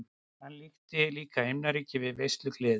Hann líkti líka himnaríki við veislugleði.